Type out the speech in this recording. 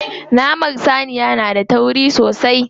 Naman saniya na da tauri sosai.